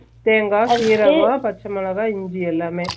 தேங்கா சீரகம் பச்ச மொளக இஞ்சி எல்லாமே